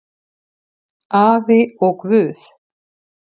Afi og Guð!